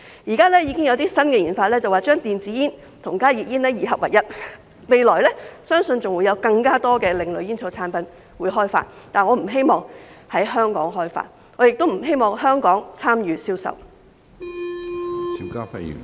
現在已經有些新研究將電子煙和加熱煙二合為一，相信未來會開發更多另類煙草產品，但我不希望在香港開發，我亦不希望香港參與銷售。